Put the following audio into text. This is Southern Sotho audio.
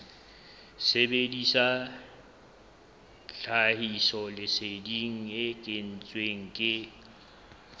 sebedisa tlhahisoleseding e kentsweng ke